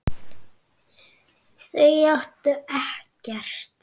Þau áttu ekkert.